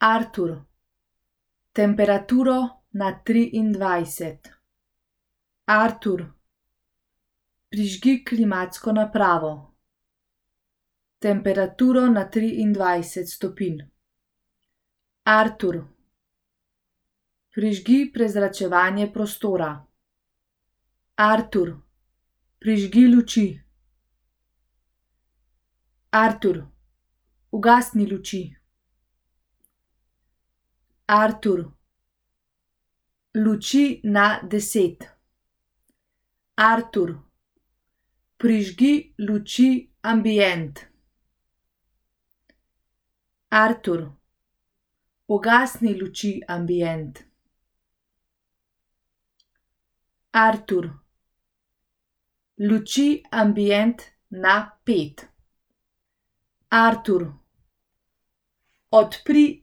Artur, temperaturo na triindvajset. Artur, prižgi klimatsko napravo. Temperaturo na triindvajset stopinj. Artur, prižgi prezračevanje prostora. Artur, prižgi luči. Artur, ugasni luči. Artur, luči na deset. Artur, prižgi luči ambient. Artur, ugasni luči ambient. Artur, luči ambient na pet. Artur, odpri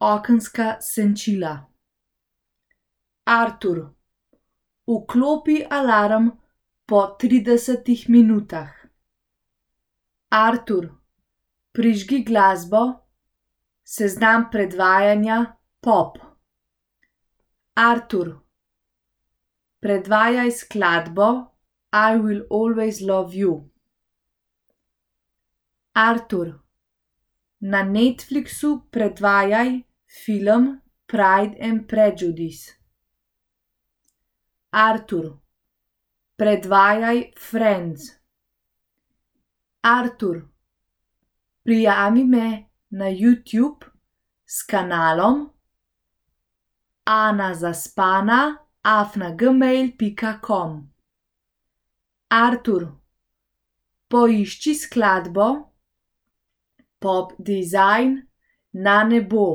okenska senčila. Artur, vklopi alarm po tridesetih minutah. Artur, prižgi glasbo, seznam predvajanja pop. Artur, predvajaj skladbo I will always love you. Artur, na Netflixu predvajaj film Pride and prejudice. Artur, predvajaj Friends. Artur, prijavi me na Youtube s kanalom Ana Zaspana afna gmail pika com. Artur, poišči skladbo Pop Dizajn Na nebo.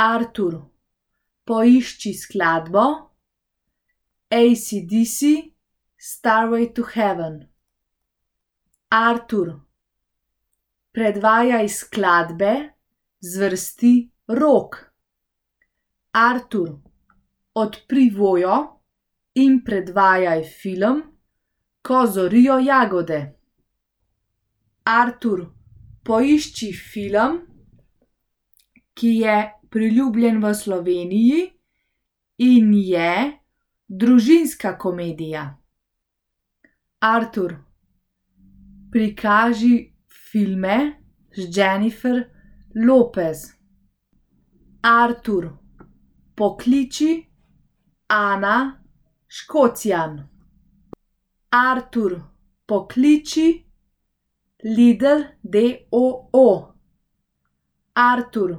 Artur, poišči skladbo AC/DC Stairway to heaven. Artur, predvajaj skladbe zvrsti rock. Artur, odpri Voyo in predvajaj film Ko zorijo jagode. Artur, poišči film, ki je priljubljen v Sloveniji in je družinska komedija. Artur, prikaži filme z Jennifer Lopez. Artur, pokliči Ana Škocjan. Artur, pokliči Lidl d. o. o. Artur,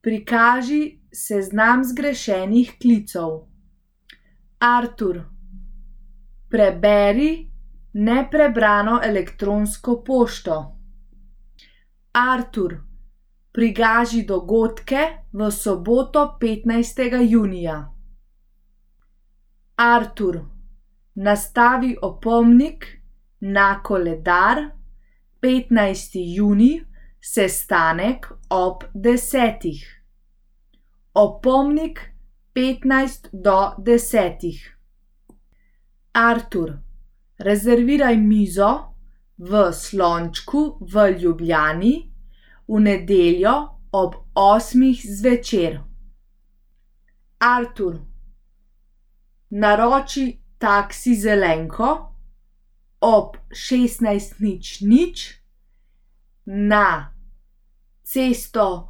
prikaži seznam zgrešenih klicev. Artur, preberi neprebrano elektronsko pošto. Artur, prikaži dogodke v soboto, petnajstega junija. Artur, nastavi opomnik na koledar petnajsti junij, sestanek ob desetih. Opomnik petnajst do desetih. Artur, rezerviraj mizo v Slončku v Ljubljani v nedeljo ob osmih zvečer. Artur, naroči taksi Zelenko ob šestnajst nič nič na cesto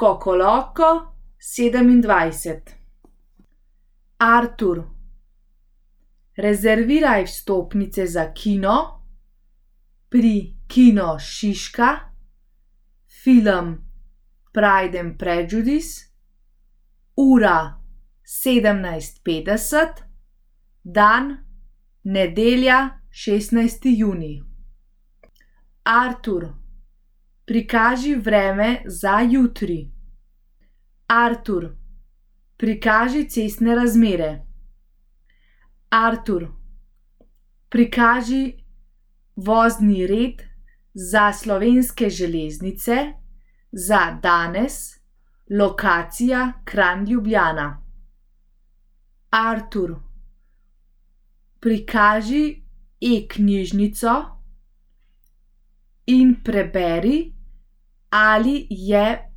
Kokoloko sedemindvajset. Artur, rezerviraj vstopnice za kino pri Kino Šiška, film Pride and prejudice, ura sedemnajst petdeset, dan nedelja, šestnajsti junij. Artur, prikaži vreme za jutri. Artur, prikaži cestne razmere. Artur, prikaži vozni red za Slovenske železnice za danes, lokacija Kranj, Ljubljana. Artur, prikaži e-knjižnico in preberi, ali je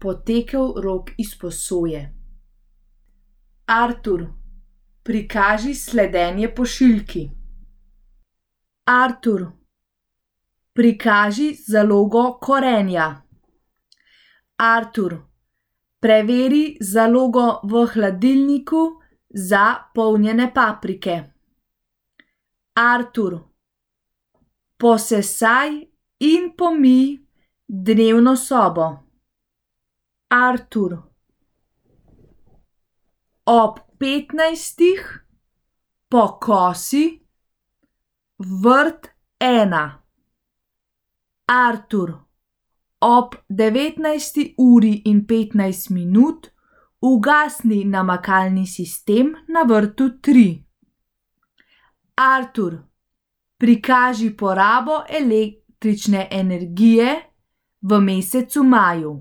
potekel rok izposoje. Artur, prikaži sledenje pošiljki. Artur, prikaži zalogo korenja. Artur, preveri zalogo v hladilniku za polnjene paprike. Artur, posesaj in pomij dnevno sobo. Artur, ob petnajstih pokosi vrt ena. Artur, ob devetnajsti uri in petnajst minut ugasni namakalni sistem na vrtu tri. Artur, prikaži porabo električne energije v mesecu maju.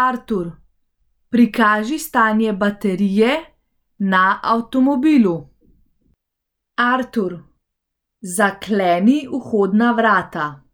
Artur, prikaži stanje baterije na avtomobilu. Artur, zakleni vhodna vrata.